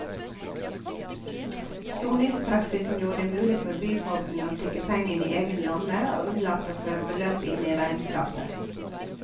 Soningspraksisen gjorde det mulig for byfogden å stikke pengene i egen lomme og unnlate å føre beløpet inn i regnskapet.